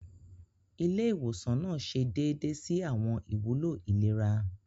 Ilé ìwòsan nàá ṣe déédé si awọn ìwúlò ìlera.